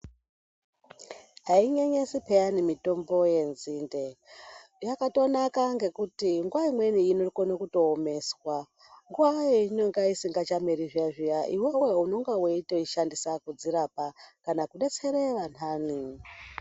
Ainyenyesi pheyani mitombo yenzinde. Yakatonaka ngekuti nguwa imweni inokona kutoomeswa, nguwa yeinenge isingachameri zviya -zviya iwewe unonga weitoishandisa kudzirapa kana kudetsera vanthani.